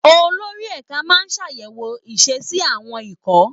Olórí ẹ̀ka máa ń ṣàyẹ̀wò ìṣesí àwọn ikọ̀